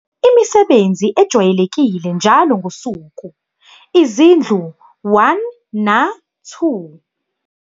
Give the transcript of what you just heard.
Imisebenzi ejwayelekile njalo ngosuku, izindlu 1 na-2.